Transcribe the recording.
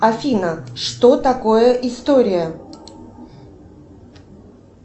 афина что такое история